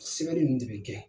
Sigali ninnu de bi kɛ